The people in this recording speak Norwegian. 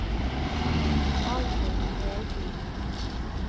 Alvhild Melby